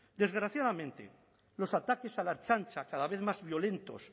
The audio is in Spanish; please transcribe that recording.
desgraciadamente los ataques a la ertzaintza cada vez más violentos